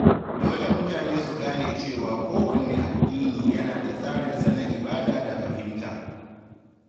Dole mutane su gane cewa kowanne addini yana da tsarinsa na ibada da fahimta.